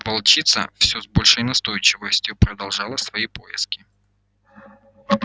волчица всё с большей настойчивостью продолжала свои поиски